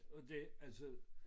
Og det altså